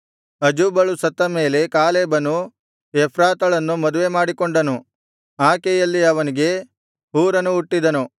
ಅಜೂಬಳು ಸತ್ತ ಮೇಲೆ ಕಾಲೇಬನು ಎಫ್ರಾತಳನ್ನು ಮದುವೆಮಾಡಿಕೊಂಡನು ಆಕೆಯಲ್ಲಿ ಅವನಿಗೆ ಹೂರನು ಹುಟ್ಟಿದನು